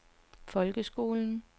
folkeskolen